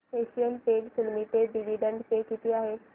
Asian Paints Limited dividend pay किती आहे